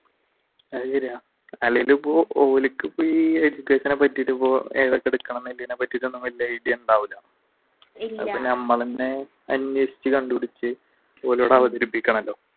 അത് ശരിയാ അല്ലെങ്കിലും ഇപ്പൊ ഓർക്ക് ഇപ്പ ഈ education നെ പറ്റിയിട്ട് ഇപ്പോൾ വലിയ idea ഉണ്ടാവൂല അപ്പൊ ഞമ്മള് തന്നെ അന്വേഷിച്ചു കണ്ടുപിടിച്ചു